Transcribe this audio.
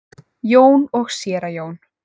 Jón og séra Jón.